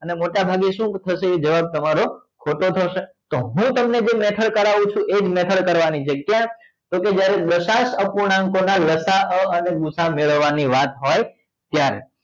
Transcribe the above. અને મોટા ભાગે શું થશે એ જવાબ તમારો ખોટો થશે તો હું તમને જે method કરવું છુ એ જ method કરવા ની છે ક્યા તો કે જ્યારે દશાંસ અપૂર્ણાંકો ના લસા અ અને ગુસા અ મેળવવા ની વાત હોય ત્યારે